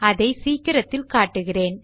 அதை சீக்கிரத்தில் காட்டுகிறேன்